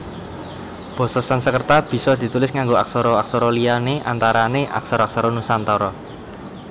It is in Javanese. Basa Sansekerta bisa ditulis nganggo aksara aksara liya antarané aksara aksara Nusantara